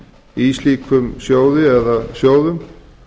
í slíkum sjóði eða sjóðum